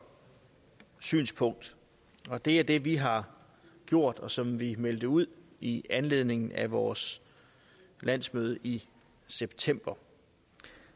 synspunkt det er det vi har gjort og som vi meldte ud i anledning af vores landsmøde i september